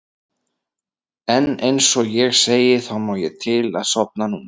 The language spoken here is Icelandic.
En einsog ég segi þá má ég til að sofna núna.